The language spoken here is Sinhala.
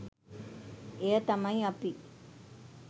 එය තමයි අපි